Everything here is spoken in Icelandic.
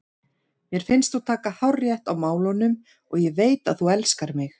Mér finnst þú taka hárrétt á málunum og ég veit að þú elskar mig.